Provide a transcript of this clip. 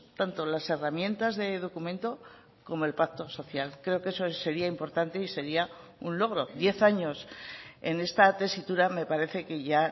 tanto las herramientas de documento como el pacto social creo que eso sería importante y sería un logro diez años en esta tesitura me parece que ya